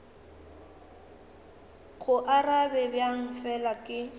go arabe bjang fela ke